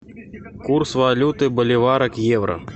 курс валюты боливара к евро